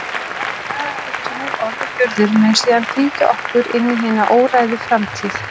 Það innihald, hugsanir, orð og gjörðir, mun síðan fylgja okkur inn í hina óræðu framtíð.